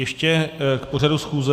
Ještě k pořadu schůze?